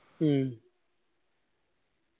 മ്മ്